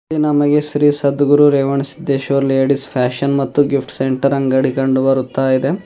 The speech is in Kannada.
ಇಲ್ಲಿ ನಮಗೆ Shri Sadguru Revanasiddeshwara ladies fashion and gift centre ಅಂಗಡಿ ಕಂಡು ಬರುತ್ತಾ ಇದೆ.